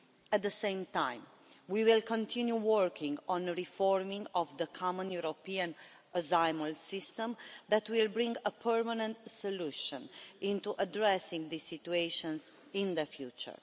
At the same time, we will continue working on reforming the common European asylum system that will bring about a permanent solution to address the situation in the future.